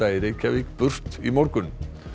í Reykjavík burt í morgun